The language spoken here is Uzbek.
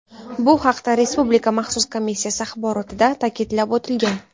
Bu haqda Respublika maxsus komissiyasi axborotida ta’kidlab o‘tilgan.